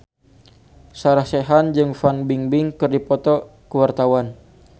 Sarah Sechan jeung Fan Bingbing keur dipoto ku wartawan